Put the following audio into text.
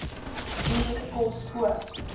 duur kos koop